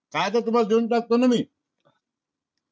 काय ते तुम्हा ला देवून टाकतो ना मी .